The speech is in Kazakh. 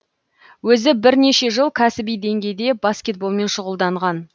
өзі бірнеше жыл кәсіби деңгейде баскетболмен шұғылданған